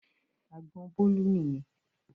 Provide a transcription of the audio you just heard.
Àgbọn Bólú nìyẹn.